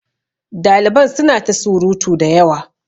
Daliban suna ta surutu da yawa.